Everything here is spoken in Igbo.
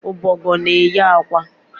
Ọbọgwụ na eye akwa